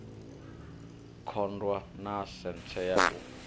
kundwa na senthe ya u